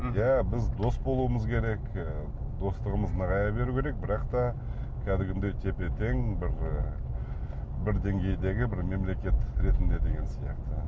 мхм иә біз дос болуымыз керек і достығымыз нығая беру керек бірақ та кәдімгідей тепе тең бір і бір деңгейдегі бір мемлекет ретінде деген сияқты